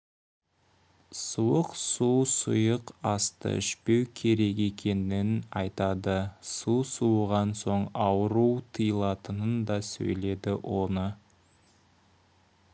суық су сұйық асты ішпеу керек екенін айтады су суыған соң ауру тыйылатынын да сөйледі оны